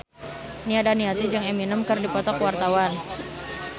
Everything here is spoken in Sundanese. Nia Daniati jeung Eminem keur dipoto ku wartawan